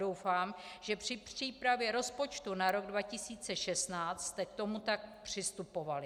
Doufám, že při přípravě rozpočtu na rok 2016 jste k tomu tak přistupovali.